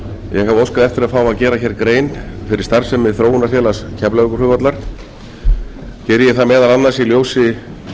eftir að fá að gera hér grein fyrir starfsemi þróunarfélags keflavíkurflugvallar geri ég það meðal annars í ljósi